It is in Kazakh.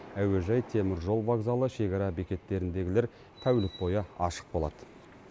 әуежай теміржол вокзалы шекара бекеттеріндегілер тәулік бойы ашық болады